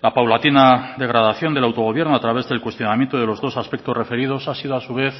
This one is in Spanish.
la paulatina degradación del autogobierno a través del cuestionamiento de los dos aspectos referidos ha sido a su vez